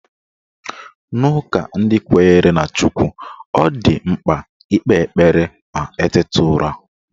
N'ụka ndị kwenyere na Chukw, ọ dị mkpa ikpe ekpere ma eteta ụra